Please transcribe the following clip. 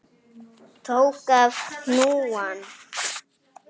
Tók af hnúann.